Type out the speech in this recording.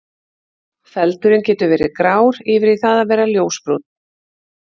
Feldurinn getur verið grár yfir í það að vera ljósbrúnn.